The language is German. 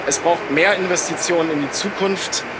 Es braucht mehr Investitionen in die Zukunft.